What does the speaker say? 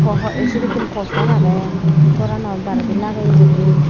pow haw ei sedekkin poster agey gorano baredi lageye guri.